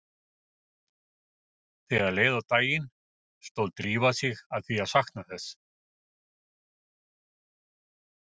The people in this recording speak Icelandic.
Þegar leið á daginn stóð Drífa sig að því að sakna þess